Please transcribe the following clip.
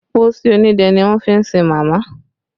Pósí onídẹ́ ni wọ́n fi sin màmá